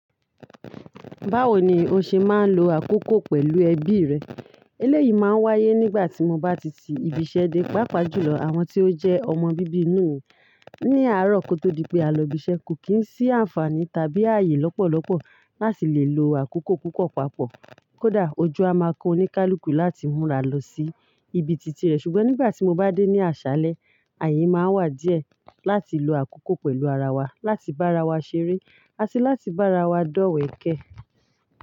Báwo ni o ṣe máa ń lo àkókò pẹ̀lú ẹbí rẹ eléyìí máa ń wáyé nígbà tí mo bá ti ti ibiṣẹ́ dé, pàápàá jùlọ àwọn tí ó jẹ́ ọmọ bíbí inú ìyá mi. Ni àárọ̀ kó tó di pé a lọ ibiṣẹ́, kò kí ń sí àǹfààní tàbí ààyè lọ́pọ̀lọpọ̀ láti lè lo àkókò púpọ̀ papọ̀. Kódà ojú a máa kán oníkálukú láti múra lọ sí ibi tìtì rẹ̀. Ṣùgbọ́n nígbà tí mo bá dé ní àṣálẹ́, ààyè máa wà díẹ̀ láti lo àkókò pẹ̀lú ara wa, láti bá ara wa ṣeré, àti láti bá ara wa dọ̀wẹ̀ kẹ́.